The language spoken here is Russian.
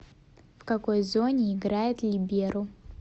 в какой зоне играет либеро